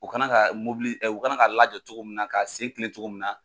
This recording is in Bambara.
U ka kan ka mobili u ka kan ka lajɔ cogo min na ka se tilen cogo min na